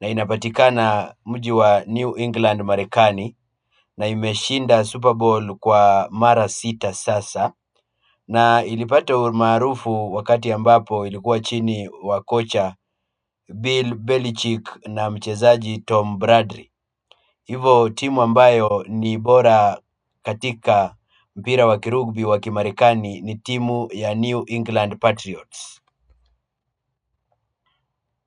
na inapatika na mji wa New England Marekani na imeshinda Super Bowl kwa mara sita sasa na ilipata umaarufu wakati ambapo ilikuwa chini wa kocha Bill Belichick na mchezaji Tom Bradley. Hivo timu ambayo ni bora katika mpira wakirugbi wa kimarekani ni timu ya New England Patriots.